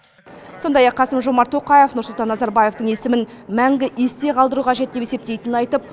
сондай ақ қасым жомарт тоқаев нұрсұлтан назарбаевтың есімін мәңгі есте қалдыру қажет деп есептейтінін айтып